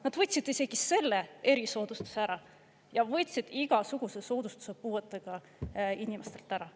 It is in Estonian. Nad võtsid isegi selle erisoodustuse ära ja võtsid igasuguse soodustuse puuetega inimestelt ära.